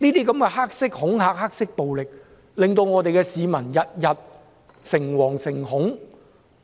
這些黑色恐嚇和黑色暴力，令市民每天誠惶誠恐。